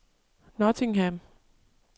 Nottingham